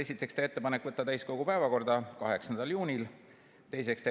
Esiteks, teha ettepanek võtta eelnõu täiskogu päevakorda 8. juuniks.